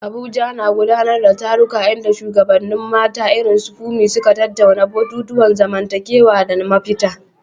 Abuja na gudanar da taruka inda shugabannin mata irin su Funmi suka tattauna batutuwan zamantakewa da mafita.